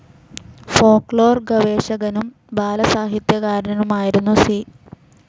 Folklore ഗവേഷകനും ബാലസാഹിത്യകാരനുമായിരുന്നു C.